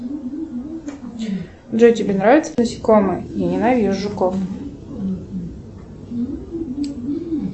джой тебе нравятся насекомые я ненавижу жуков